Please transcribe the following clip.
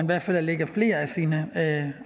hvert fald lægger flere af sine